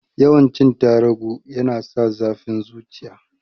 Yawan cin tarugu yana sa zafin zuciya